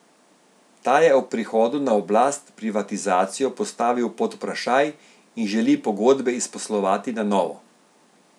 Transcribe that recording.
Ta je ob prihodu na oblast privatizacijo postavil pod vprašaj in želi pogodbe izposlovati na novo.